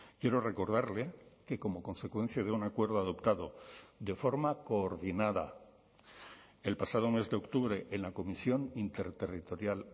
quiero recordarle que como consecuencia de un acuerdo adoptado de forma coordinada el pasado mes de octubre en la comisión interterritorial